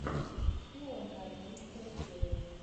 шпионка одиннадцатая серия